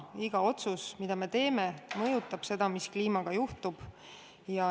Iga otsus, mille me teeme, mõjutab seda, mis kliimaga juhtub.